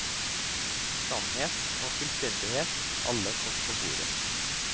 Sannhet og fullstendighet, alle kort på bordet.